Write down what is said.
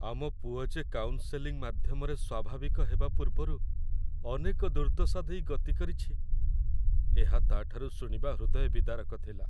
ଆମ ପୁଅ ଯେ କାଉନ୍‌ସେଲିଂ ମାଧ୍ୟମରେ ସ୍ୱାଭାବିକ ହେବା ପୂର୍ବରୁ ଅନେକ ଦୁର୍ଦ୍ଦଶା ଦେଇ ଗତି କରିଛି, ଏହା ତା'ଠାରୁ ଶୁଣିବା ହୃଦୟ ବିଦାରକ ଥିଲା ।